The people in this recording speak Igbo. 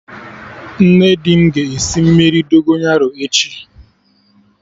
Nne di m ga-esi mmiri Dogonyaro echi